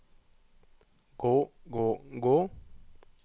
gå gå gå